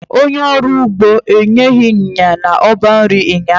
Onye ọrụ ugbo enyeghị ịnyịnya n'ọba nri ụnyaahụ.